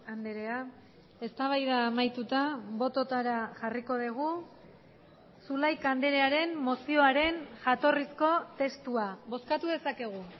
andrea eztabaida amaituta bototara jarriko dugu zulaika andrearen mozioaren jatorrizko testua bozkatu dezakegu